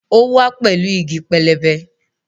Ó wá pẹ̀lú igi pẹlẹbẹ